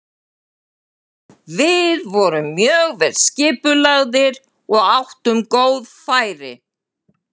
Við vorum mjög vel skipulagðir og áttum góð færi.